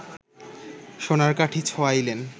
সোনার কাঠি ছোঁয়াইলেন